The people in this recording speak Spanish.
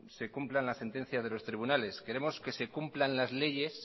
se cumplan las sentencias de los tribunales queremos que se cumplan las leyes